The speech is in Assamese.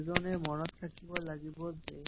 এজনে মন ৰাখিব লাগিব যে